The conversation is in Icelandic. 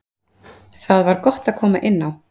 Það var gott að koma inn á.